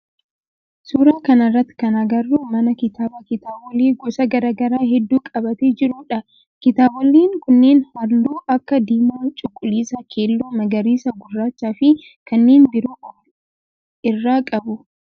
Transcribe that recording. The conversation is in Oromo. Suuraa kana irratti kan agarru mana kitaabaa kitaabolee gosa garaa garaa heddu qabatee jiru dha. Kitaaboleen kunneen halluu akka diimaa cuquliisa, keelloo, magariisa, gurraachaa fi kanneen biroo of irraa qabu.